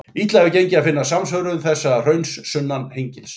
Illa hefur gengið að finna samsvörun þess hrauns sunnan Hengils.